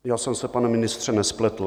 Já jsem se, pane ministře, nespletl.